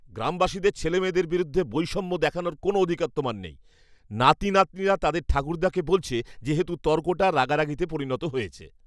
গ্রামবাসীদের ছেলেমেয়ের বিরুদ্ধে বৈষম্য দেখানোর কোনও অধিকার তোমার নেই। নাতি নাতনিরা তাদের ঠাকুরদাকে বলছে যেহেতু তর্কটা রাগারাগিতে পরিণত হয়েছে